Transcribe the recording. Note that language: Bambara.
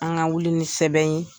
An ka wuli ni sɛbɛn ye